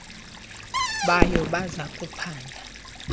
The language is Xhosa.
bayo baza kuphanda